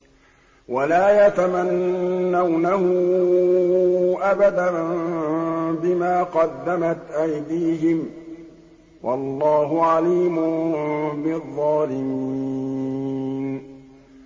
وَلَا يَتَمَنَّوْنَهُ أَبَدًا بِمَا قَدَّمَتْ أَيْدِيهِمْ ۚ وَاللَّهُ عَلِيمٌ بِالظَّالِمِينَ